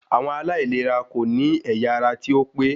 Àwọn aláìlera kò ní ẹ̀yà ara tí ó pé